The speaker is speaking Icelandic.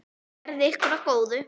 Verði ykkur að góðu.